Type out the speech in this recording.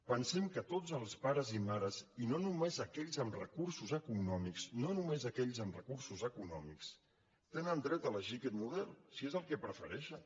pensem que tots els pares i mares i no només aquells amb recursos econòmics no només aquells amb recursos econòmics tenen dret a elegir aquest model si és el que prefereixen